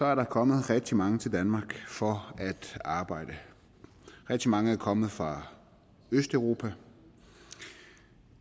er der kommet rigtig mange til danmark for at arbejde rigtig mange er kommet fra østeuropa